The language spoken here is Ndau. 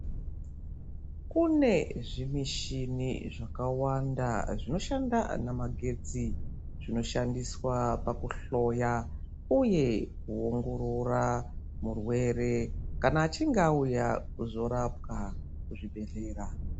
Kune zvimishini zvaka wanda zvino shanda na magetsi zvino shandiswa paku hloya uye ku ongorora murwere kana achinge auya kuzo rapwa ku zvibhedhlera.